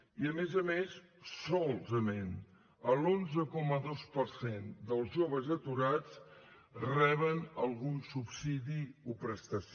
i a més a més solament l’onze coma dos per cent dels joves aturats reben algun subsidi o prestació